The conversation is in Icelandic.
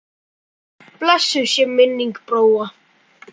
Blessuð sé minning Bróa.